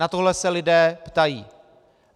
Na tohle se lidé ptají.